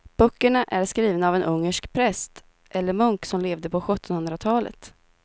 Böckerna är skrivna av en ungersk präst eller munk som levde på sjuttonhundratalet.